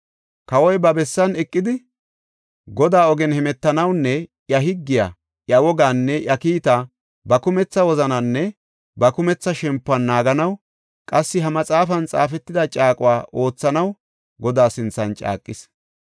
Kawoy ba bessan eqidi, Godaa ogen hemetanawunne iya higgiya, iya wogaanne iya kiitaa ba kumetha wozanaaninne ba kumetha shempuwan naaganaw, qassi ha maxaafan xaafetida caaquwa oothanaw Godaa sinthan caaqis.